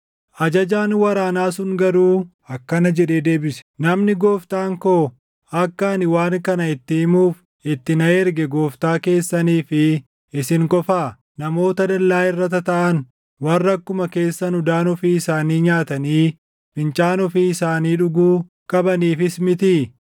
Ajajaan waraanaa sun garuu akkana jedhee deebise; “Namni gooftaan koo akka ani waan kana itti himuuf itti na erge gooftaa keessanii fi isin qofaa? Namoota dallaa irra tataaʼan warra akkuma keessan udaan ofii isaanii nyaatanii fincaan ofii isaanii dhuguu qabaniifis mitii?”